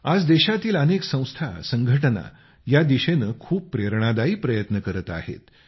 आज देशातील अनेक संस्था संघटना या दिशेने खूप प्रेरणादायी प्रयत्न करत आहेत